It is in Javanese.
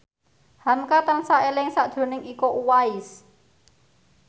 hamka tansah eling sakjroning Iko Uwais